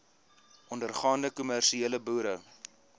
ondergaande kommersiële boere